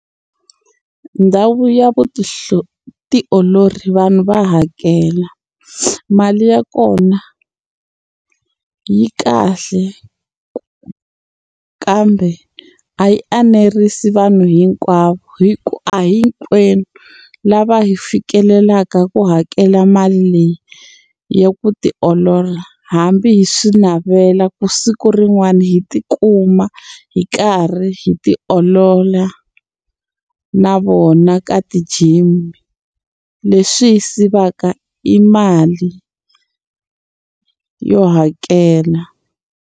Ndhawu ya tioloro vanhu va hakela mali ya kona yi kahle kambe a yi enerisi vanhu hinkwavo hikuva a hinkwenu lava hi fikelelaka ku hakela mali leyi ya ku tiolola hambi hi swi navela ku siku rin'wani hi tikuma hi karhi hi ti olola na vona ka ti-gym leswi hi sivaka i mali yo hakela.